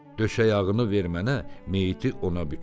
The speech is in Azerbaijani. Döşəyağını ver mənə, meyiti ona büküm.